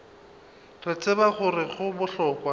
re tseba gore go bohlokwa